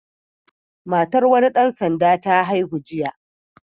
Matar wani ɗan sanda ta haihu jiya.